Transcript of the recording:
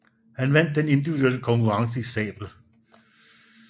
Han vandt den individuelle konkurrence i sabel